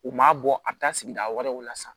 U m'a bɔ a bɛ taa sigida wɛrɛw la sisan